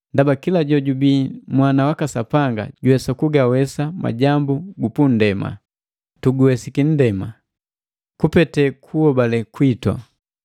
ndaba kila jojubii mwana waka Sapanga juwesa kugawesa majambu gu punndema. Tuguwesiki nndema, kupete kuhobale kwitu.